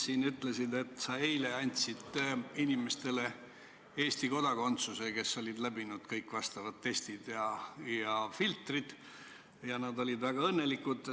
Sa ütlesid, et sa eile andsid Eesti kodakondsuse inimestele, kes olid läbinud kõik vastavad testid ja filtrid, ja et nad olid väga õnnelikud.